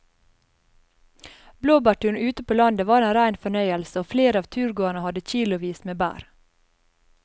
Blåbærturen ute på landet var en rein fornøyelse og flere av turgåerene hadde kilosvis med bær.